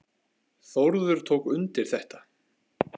Þórður tók undir þetta.